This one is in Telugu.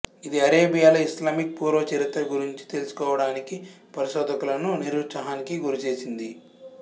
ఇది అరేబియాలో ఇస్లామిక్ పూర్వ చరిత్ర గురించి తెలుసుకోవడానికి పరిశోధకులను నిరుత్సాహానికి గురిచేసింది